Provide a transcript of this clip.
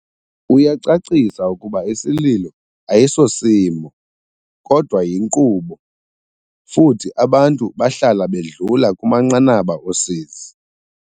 Uyacacisa ukuba isililo ayi sosimo, kodwa yinkqubo, futhi abantu bahlala bedlula kumanqanaba osizi.